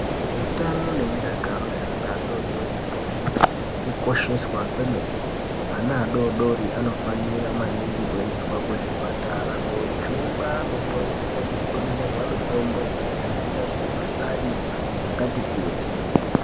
Utano nemudakaro zvaana adoodori zvinofanira kukosheswa kwemene. Ana adoodori anofanira maningi kuendeswa kuzvipatara koojungwa mitombo ngekudonhedzerwa mitombo yekudziwirira mikuhlani yakati kuti.